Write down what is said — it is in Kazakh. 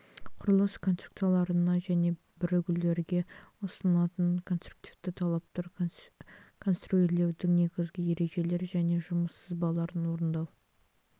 құрылыс конструкцияларына және бірігулерге ұсынылатын конструктивті талаптар конструирлеудің негізгі ережелері және жұмыс сызбаларын орындау